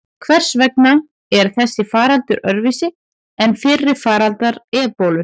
Hvers vegna er þessi faraldur öðruvísi en fyrri faraldrar ebólu?